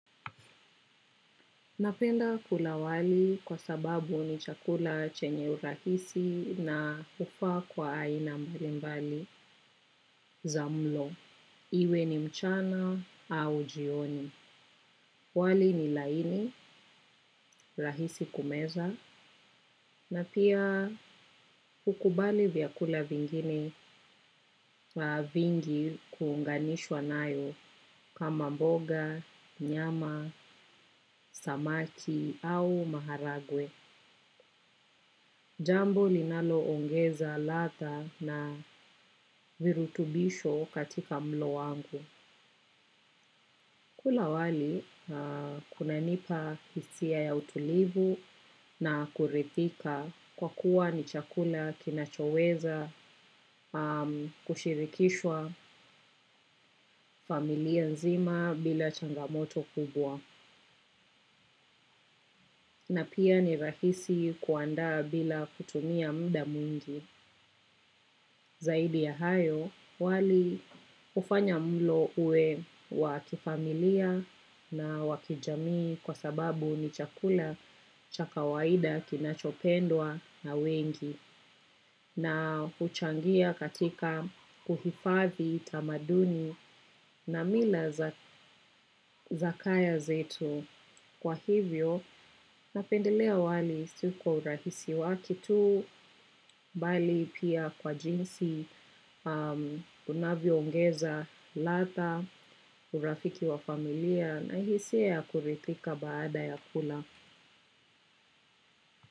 Napenda kula wali kwa sababu ni chakula chenye urahisi na hufaa kwa aina mbalimbali za mlo. Iwe ni mchana au jioni. Wali ni laini, rahisi kumeza, na pia hukubali vyakula vingine vingi kuunganishwa nao, kama mboga, nyama, samaki au maharagwe. Jambo linaloongeza ladha na virutubisho katika mlo wangu. Kula wali kunanipa hisia ya utulivu na kuridhika, kwa kuwa ni chakula kinachoweza kushirikishwa na familia nzima bila changamoto kubwa. Na pia ni rahisi kuandaa bila kutumia muda mwingi. Zaidi ya hayo, wali hufanya mlo uwe wa kifamilia na wa kijamii, kwa sababu ni chakula cha kawaida kinachopendwa na wengi. Na huchangia katika kuhifadhi tamaduni na mila za kaya zetu. Kwa hivyo, napendelea wali si kwa urahisi wake tu, bali pia kwa jinsi unavyoongeza ladha, urafiki wa familia na hisia ya kuridhika baada ya kula.